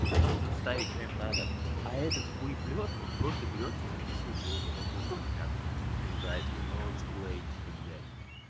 и потом уже вставить своим надо а этот хуеплет он просто берет и записывает свою потоковую трансляцию и нарезает её ноут сплей типа блять